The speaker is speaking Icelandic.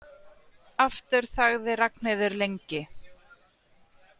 Aftur þagði Ragnheiður lengi.